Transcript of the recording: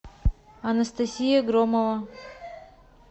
анастасия громова